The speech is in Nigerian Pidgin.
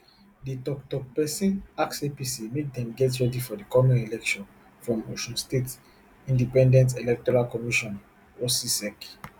di toktok pesin ask apc make dem get ready for di coming election from osun state independent electoral commission ossiec